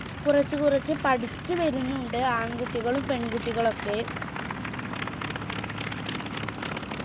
കുറച്ചു കുറച്ച് പഠിച്ച് വരുന്നുണ്ട് ആൺകുട്ടികളും പെൺകുട്ടികളൊക്കെ